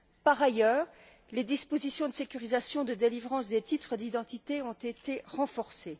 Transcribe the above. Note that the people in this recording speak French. Par ailleurs, les dispositions de sécurisation de délivrance des titres d'identité ont été renforcées.